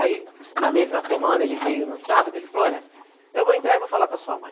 Aí, na mesma semana, ele veio no sábado, ele falou, olha, eu vou entrar e vou falar com a sua mãe.